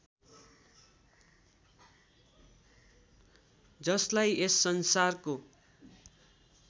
जसलाई यस संसारको